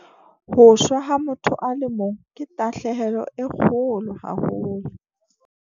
"Ho shwa ha motho a le mong ke tahlehelo e kgolo haholo."